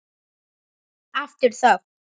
Aftur þögn.